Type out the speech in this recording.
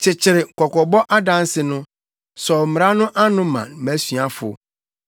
Kyekyere kɔkɔbɔ adanse no sɔw mmara no ano ma mʼasuafo.